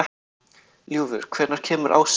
Ljúfur, hvenær kemur ásinn?